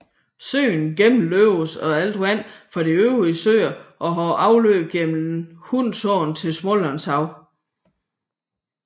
Søen gennemløbes af alt vandet fra de øvrige søer og har afløb gennem Hunsåen til Smålandshavet